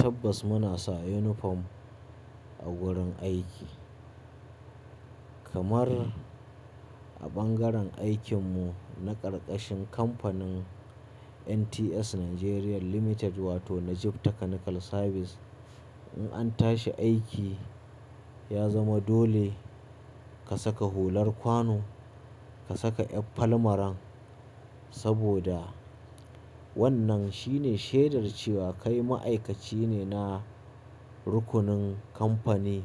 Tabbas muna sa uniform a wurin aiki, kamar a bangaren aikin mu, na karkashin kamfanin NTS Nigeria Limited wato Najib Technical Service. In an tashi aiki, ya zama dole ka saka hular kwano, ka saka ƴan falmaran saboda wannan shine shaidar cewa kai ma'aikaci ne na rukunin kamfani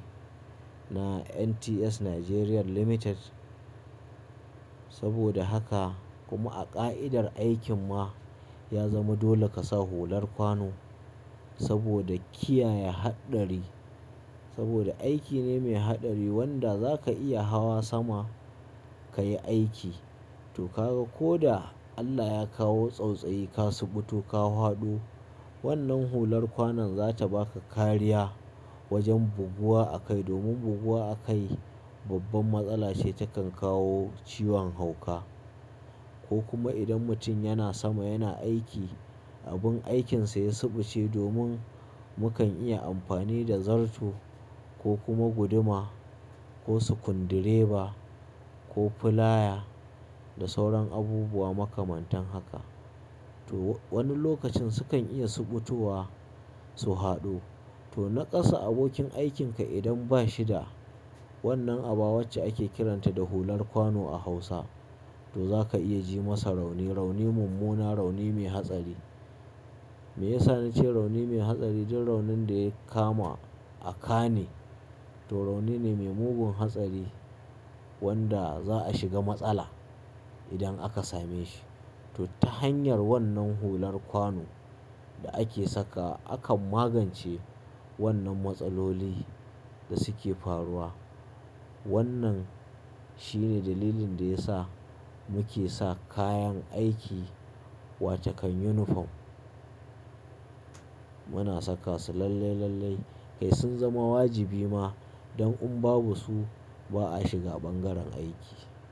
na NTS Nigeria Limited. Saboda haka, kuma a ka'idar aikin ma ya zama dole ka sa hular kwano saboda kiyaye haɗari. Saboda aiki ne mai haɗari wanda za ka iya hawa sama ka yi aiki, to ka ga ko da Allah ya kawo tsautsayi ka subu ko ka haɗu, wannan hular kwanon za ta ba ka kariya wajen buguwa a kai. Domin buguwa a kai babban matsala ce takan kawo ciwon hauka. Ko kuma idan mutum yana sama yana aiki, abin aikinsa ya subuce domin mukan iya amfani da zarto, ko kuma guduma ko sukundireba ko filaya da sauran abubuwa makamantan haka. To wani lokacin su kan iya subutuwa su haɗu, to naƙasa abokin aikin ka idan ba shi da wannan aba wacce ake kiranta da hular kwano a Hausa, to za ka iya ji masa rauni, rauni mummuna, rauni mai hatsari. Me ya sa na ce rauni mai hatsari? Duk raunin da ya kama a ƙa ne to rauni ne mai mugun hatsari wanda za a shiga matsala idan aka same shi. To ta hanyar wannan hular kwano da ake saka, akan magance wannan matsaloli da suke faruwa. Wannan shine dalilin da ya sa muke sa kayan aiki wace kan uniform. Muna saka su lallai, lallai. Kai sun zama wajibi ma, don in babu su ba a shiga bangaren aiki.